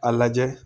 A lajɛ